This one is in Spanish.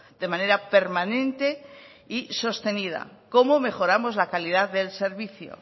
de manera permanente y sostenida cómo mejoramos la calidad del servicio